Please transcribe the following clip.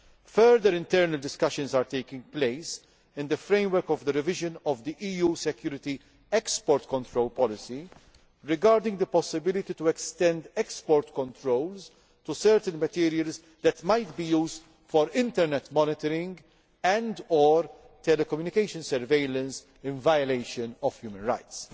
Further internal discussions are taking place in the framework of the revision of the EU's Security Export Control Policy regarding the possibility of extending export controls to certain materials that might be used for internet monitoring and or telecommunication surveillance in violation of human rights.